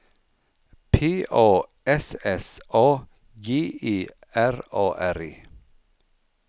P A S S A G E R A R E